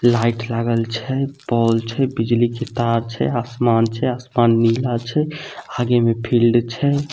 Light लागल छै pole छै बिजली के तार छै आसमान छै आसमान नीला छै हगे में फील्ड छै।